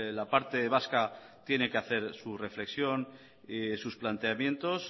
la parte vasca tiene que hacer su reflexión sus planteamientos